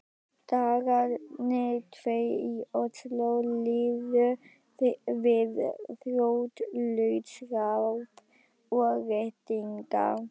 Dagarnir tveir í Osló liðu við þrotlaust ráp og reddingar.